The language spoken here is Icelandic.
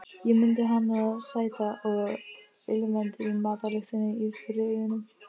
Ég mundi hana sæta og ilmandi í matarlyktinni í Firðinum.